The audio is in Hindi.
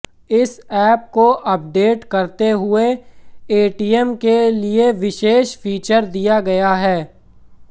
इस एप को अपडेट करते हुए एटीएम के लिए विशेष फीचर दिया गया है